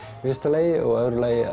í fyrsta lagi og í öðru lagi